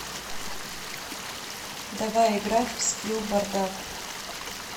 давай играть в скилл бардак